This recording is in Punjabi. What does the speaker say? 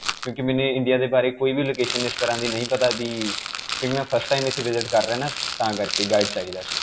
ਕਿਉਂਕਿ ਮੈਨੂੰ India ਦੇ ਬਾਰੇ ਕੋਈ ਵੀ location ਇਸ ਤਰ੍ਹਾਂ ਦੀ ਨਹੀਂ ਪਤਾ ਕਿ, ਕਿਉਂਕਿ ਮੈਂ first time ਇਥੇ visit ਕਰ ਰਿਹਾ ਹਾਂ ਤਾਂ ਕਰਕੇ guide ਚਾਹਿਦਾ ਸੀ